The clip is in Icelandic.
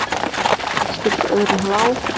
Engin skyldi öðrum lá.